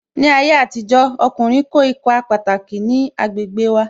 Ní ayé àtijó, ọkùnrin kó ipa pataki ní agbègbè wa